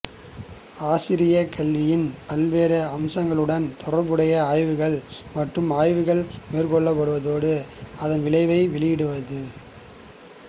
ஆசிரிய கல்வியின் பல்வேறு அம்சங்களுடன் தொடர்புடைய ஆய்வுகள் மற்றும் ஆய்வுகள் மேற்கொள்வதோடு அதன் விளைவை வெளியிடுவதும்